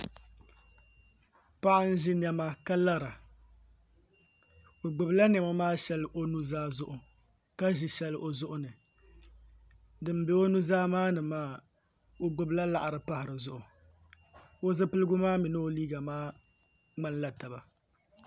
Paɣa n ʒi niɛma ka lara o gbubila niɛma maa shɛli o nuzaa zuɣu ka ʒi shɛli o zuɣuni din bɛ o nuzaa maa ni maa o gbubila laɣari pahi dizuɣu o zipiligu maa mini o liiga maa ŋmanila taba